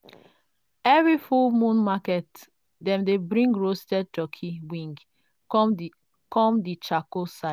every full moon market dem dey bring roasted turkey wing come the come the charcoal side.